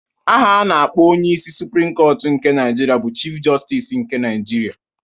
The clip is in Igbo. Aha a na-akpọ onyeisi suprim kọtụ nke Naịjirịa bụ Chif Jọstis nke Naịjirịa